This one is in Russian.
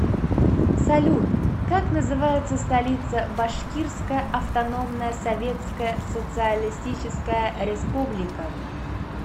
салют как называется столица башкирская автономная советская социалистическая республика